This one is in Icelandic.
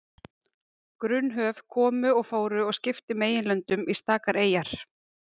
Grunn höf komu og fóru og skiptu meginlöndum í stakar eyjar.